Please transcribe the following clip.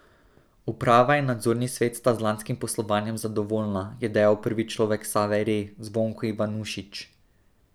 Uprava in nadzorni svet sta z lanskim poslovanjem zadovoljna, je dejal prvi človek Save Re Zvonko Ivanušič.